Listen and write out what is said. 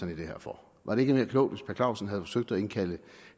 det her for var det ikke mere klogt hvis per clausen havde forsøgt at indkalde